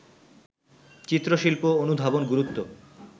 চিত্রশিল্প অনুধাবন গুরুত্ব